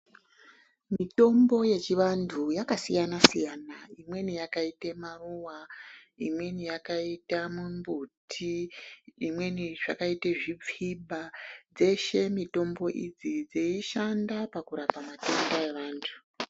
Mitombo yechivantu yakasiyana siyana imweni yakaita maruwa imweni yakaita zvimbuti imweni yakaita zvipfuba dzeshe mitombo idzi dzeishanda pakurapa matenda evantu.